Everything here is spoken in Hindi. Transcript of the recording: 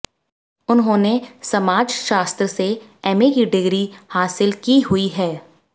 उन्होंने समाजशास्त्र से एमए की डिग्री हासिल की हुई है